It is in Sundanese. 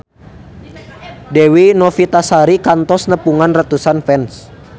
Dewi Novitasari kantos nepungan ratusan fans